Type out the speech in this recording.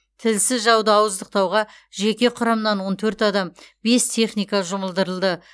тілсіз жауды ауыздықтауға жеке құрамнан он төрт адам бес техника жұмылдырылды